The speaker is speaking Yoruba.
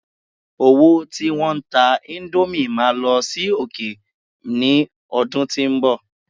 owo tí won ta Indomie ma lọ sí òkè mi ọdún tínbọ̀